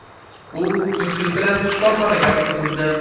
U zudlik bilan shifoxonaga yotqizildi.